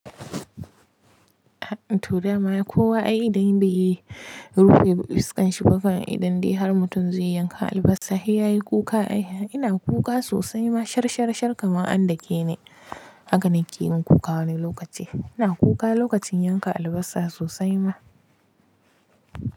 To dama kowa ai da yadda yake rufe fuskanshi bama idan dai har mutum zai yanka albasa, sai yayi kuka ai. Ina kuka sosai ma sharsharshar kamar an dake ni. Haka na ke yin kuka wani lokaci. Ina kuka lokacin yanka albasa sosai ma.